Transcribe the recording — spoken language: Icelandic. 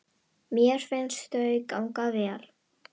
Mér finnst þau ganga vel.